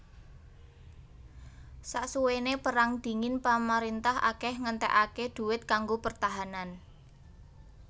Sasuwené Perang Dingin pamarintah akèh ngentèkaké duit kanggo pertahanan